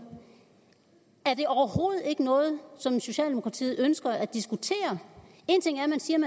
er det overhovedet ikke noget som socialdemokratiet ønsker at diskutere en ting